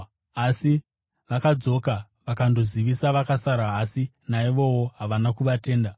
Ava vakadzoka vakandozivisa vakasara; asi naivowo havana kuvatenda.